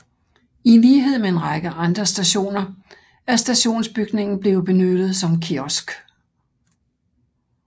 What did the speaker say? I lighed med en række andre stationer er stationsbygningen blevet benyttet som kiosk